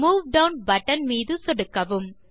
move down button மீது சொடுக்கவும்